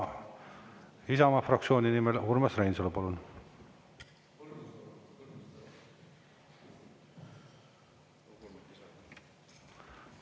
Isamaa fraktsiooni nimel, Urmas Reinsalu, palun!